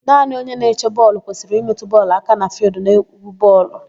Naanị onye na-eche bọọlụ kwesịrị ịmetụ bọọlụ aka na fịịldụ n'égwú bọọlụ.